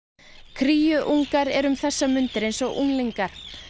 kríungar eru um þessar mundir eins og unglingar